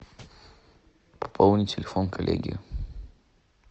пополни телефон коллеги